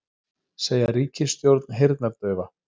Segja ríkisstjórn heyrnardaufa